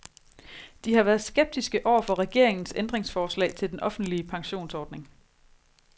De har været skeptiske over for regeringens ændringsforslag til den offentlige pensionsordning.